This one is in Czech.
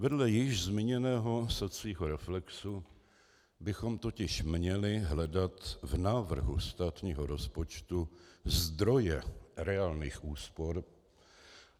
Vedle již zmíněného sacího reflexu bychom totiž měli hledat v návrhu státního rozpočtu zdroje reálných úspor.